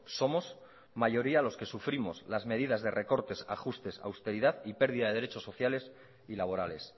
somos mayoría los que sufrimos las medidas de recortes ajustes austeridad y pérdida de derechos sociales y laborales